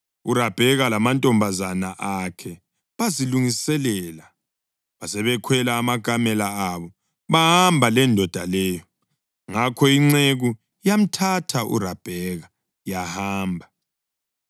URabheka lamantombazana akhe bazilungiselela, basebekhwela amakamela abo bahamba lendoda leyo. Ngakho inceku yamthatha uRabheka yahamba.